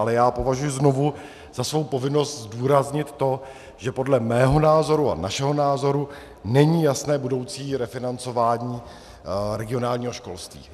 Ale já považuju znovu za svou povinnost zdůraznit to, že podle mého názoru a našeho názoru není jasné budoucí refinancování regionálního školství.